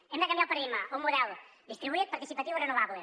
hem de canviar el paradigma a un model distribuït participatiu i renovable